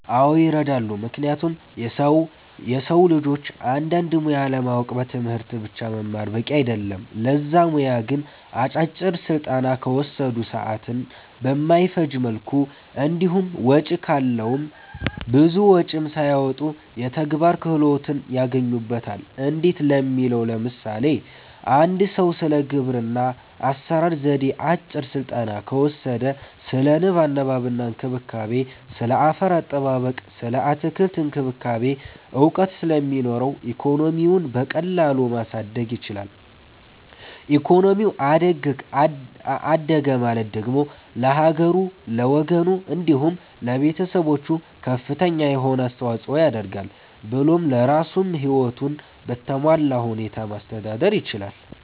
አዎ ይረዳሉ ምክንያቱም የሰዉ ልጆች አንድን ሙያ ለማወቅ በትምህርት ብቻ መማር በቂ አይደለም ለዛ ሙያ ግን አጫጭር ስልጠና ከወሰዱ፣ ሰዓትን በማይፈጅ መልኩ እንዲሁም ወጪ ካለዉም ብዙ ወጪም ሳያወጡ የተግባር ክህሎትን ያገኙበታል እንዴት ለሚለዉ ለምሳሌ፦ አንድ ሰዉ ስለ ግብርና አሰራር ዜዴ አጭር ስልጠና ከወሰደ ስለ ንብ ማነብ እና እንክብካቤ፣ ስለ አፈር አጠባበቅ ስለ አትክልት እክንክብካቤ እዉቀት ስለሚኖረዉ ኢኮኖሚዉን በቀላሉ ማሳደግ ይችላል ኢኮኖሚው አደገ ማለት ደግሞ ለሀገሩ፣ ለወገኑ፣ እንዲሁም ለቤተሰቦቹ ከፍተኛ የሆነ አስተዋፅኦ ያደርጋል ብሎም ለራሱም ህይወቱን በተሟላ ሁኔታ ማስተዳደር ይችላል።